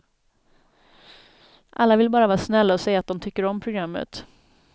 Alla vill bara vara snälla och säga att de tycker om programmet.